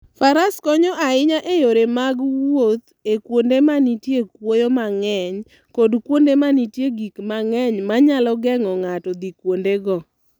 Faras konyo ahinya e yore mag wuoth e kuonde ma nitie kuoyo mang'eny kod kuonde ma nitie gik mang'eny ma nyalo geng'o ng'ato dhi kuondego.